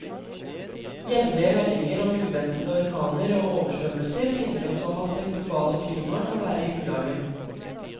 Jevnlige meldinger om uventede orkaner og oversvømmelser minner oss om at det globale klimaet kan være i ulage.